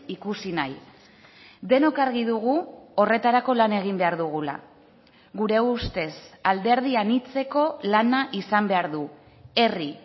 ikusi nahi denok argi dugu horretarako lan egin behar dugula gure ustez alderdi anitzeko lana izan behar du herri